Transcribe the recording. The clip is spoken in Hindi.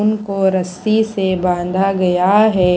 उनको रस्सी से बांधा गया है।